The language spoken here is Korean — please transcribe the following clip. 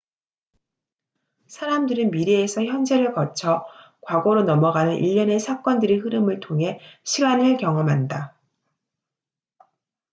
사람들은 미래에서 현재를 거쳐 과거로 넘어가는 일련의 사건들의 흐름을 통해 시간을 경험한다